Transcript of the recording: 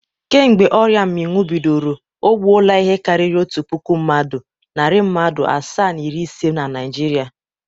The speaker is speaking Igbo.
Kemgbe ọrịa mmịnwụ bidoro, o gbuola ihe karịrị otu puku mmadụ, narị mmadụ asaa na iri ise na Naịjirịa.